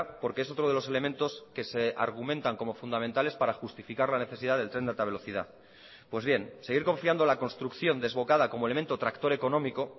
porque es otro de los elementos que se argumentan como fundamentales para justificar la necesidad del tren de alta velocidad pues bien seguir confiando la construcción desbocada como elemento tractor económico